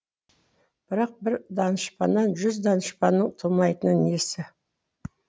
бірақ бір данышпаннан жүз данышпанның тумайтыны несі